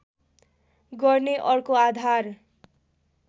गर्ने अर्को आधार